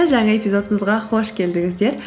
жаңа эпизодымызға қош келдіңіздер